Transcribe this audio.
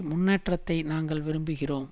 முன்னேற்றத்தை நாங்கள் விரும்புகிறோம்